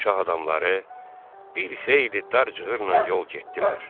Şah adamları bir xeyli dar cığırla yol getdilər.